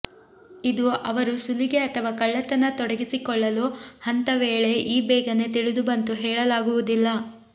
ಇದು ಅವರು ಸುಲಿಗೆ ಅಥವಾ ಕಳ್ಳತನ ತೊಡಗಿಸಿಕೊಳ್ಳಲು ಹಂತ ವೇಳೆ ಈ ಬೇಗನೆ ತಿಳಿದುಬಂತು ಹೇಳಲಾಗುವುದಿಲ್ಲ